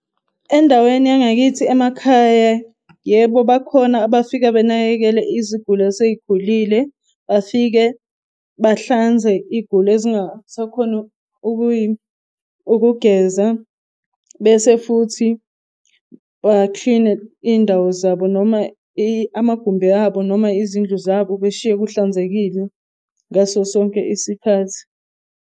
Endaweni yangakithi emakhaya, yebo, bakhona bafika benakekele iziguli eseyikhulile. Bafike bahlanze iy'guli engasakhoni ukugeza. Bese futhi ba-clean-e indawo zabo, noma amagumbi abo noma izindlu zabo, beshiye kuhlanzekile ngaso sonke isikhathi.